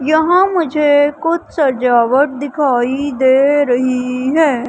यहां मुझे कुछ सजावट दिखाई दे रही है।